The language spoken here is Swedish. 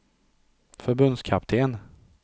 förbundskapten